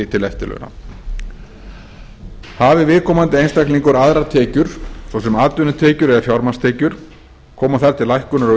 til eftirlauna hafi viðkomandi einstaklingur aðrar tekjur svo sem atvinnutekjur eða fjármagnstekjur koma þær til lækkunar